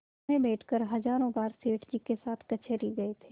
इसमें बैठकर हजारों बार सेठ जी के साथ कचहरी गये थे